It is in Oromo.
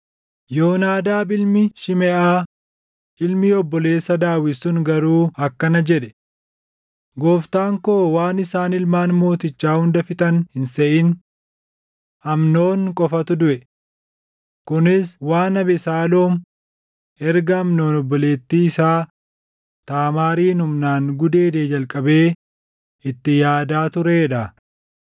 Yoonaadaab ilmi Shimeʼaa ilmi obboleessa Daawit sun garuu akkana jedhe; “Gooftaan koo waan isaan ilmaan mootichaa hunda fixan hin seʼin; Amnoon qofatu duʼe. Kunis waan Abesaaloom erga Amnoon obboleettii isaa Taamaarin humnaan gudeedee jalqabee itti yaadaa turee dha.